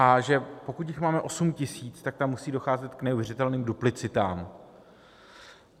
A že pokud jich máme 8 tisíc, tak tam musí docházet k neuvěřitelným duplicitám.